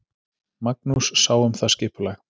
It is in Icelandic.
Magnús sá um það skipulag.